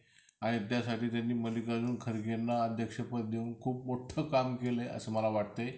आणि त्यासाठी त्यांनी खारगेंना अध्यक्ष पद देऊन खूप मोठं काम केलंय असं मला वाटतंय.